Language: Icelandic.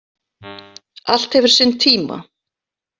Allt hefur sinn tíma.